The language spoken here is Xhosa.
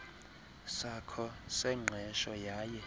sakho sengqesho yaye